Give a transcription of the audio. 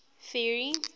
ferry